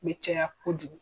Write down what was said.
be caya kojugu